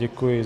Děkuji.